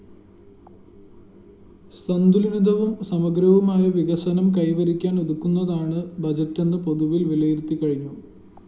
സന്തുലിതവും സമഗ്രവുമായ വികസനം കൈവരിക്കാന്‍ ഉതകുന്നതാണ് ബജറ്റെന്ന് പൊതുവില്‍ വിലയിരുത്തിക്കഴിഞ്ഞു